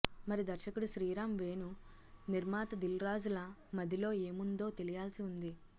మరి దర్శకుడు శ్రీరామ్ వేణు నిర్మాత దిల్ రాజుల మదిలో ఏముందో తెలియాల్సి ఉంది